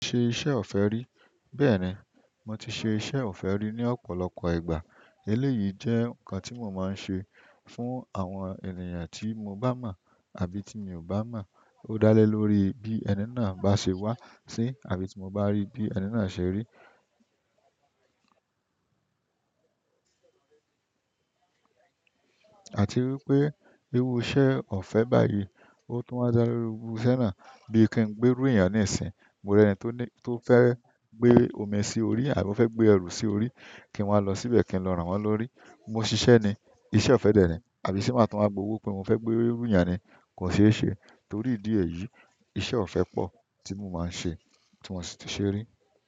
Mo ṣe iṣẹ́ ọ̀fẹ́ rí. Bẹ́ẹ̀ni, mo ti ṣe iṣẹ́ ọ̀fẹ́ rí ní ọ̀pọ̀lọpọ̀ ìgbà. Eléyìí jẹ́ ǹkan tí mo máa ń ṣe fún àwọn ènìyàn tí mo bá mọ̀ àbí tí mi ò bá mọ̀. Ó dá lé lórí bí ẹni náà bá ṣe wá sí, àbí tí mo bá rí bí ẹni náà ṣe rí. Àti wípé irú iṣẹ́ ọ̀fẹ́ báyìí, ó tún wa ń dá lé ru irú iṣẹ́ náà. Bí ki n gbérù ènìyàn ní ìsìn, mo rí ẹni tó fẹ́ gbé omi sí orí àbí ó fẹ́ gbé ẹrù sí orí, kí n wá lọ síbẹ̀ kí n lọ rán wọn lórí. Mo ṣiṣẹ́ ni, iṣẹ́ ọ̀fẹ́ dẹ̀ni. Àbí se má tun wá gbowó pé mo fẹ́ gbérù ènìyàn ni kò ṣe é ṣe torí ìdí èyí. Iṣẹ́ ọ̀fẹ́ pọ̀ tí mo máa ń ṣe tí mo sì ti ṣe rí.